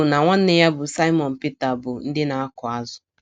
Andru na nwanne ya bụ́ Saịmọn Pita bụ ndị na - akụ azụ̀.